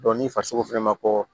ni farisogo fɛnɛ ma kɔkɔ